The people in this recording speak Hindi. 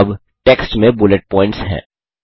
अब टेक्स्ट में बुलेट पॉइंट्स हैं